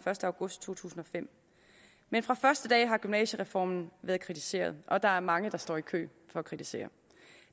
første august to tusind og fem men fra første dag har gymnasiereformen været kritiseret og der er mange der står i kø for at kritisere